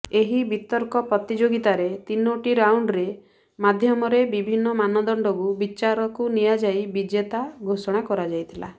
ଏହି ବିତର୍କ ପ୍ରତିଯୋଗୀତାରେ ତିନୋଟି ରାଉଣ୍ଡରେ ମାଧ୍ୟମରେ ବିଭିନ୍ନ ମାନଦଣ୍ଡକୁ ବିଚାରକୁ ନିଆଯାଇ ବିଜେତା ଘୋଷଣା କରାଯାଇଥିଲା